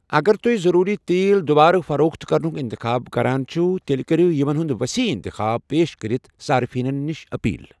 اگر تُہۍ ضروٗری تیل دوبارٕ فروخت کرنُکھ انتخاب کران چھِو، تیٚلہِ کٔرِو یِمن ہُنٛد ؤسیع انتخاب پیش کٔرِتھ صارفینَن نِش اپیل۔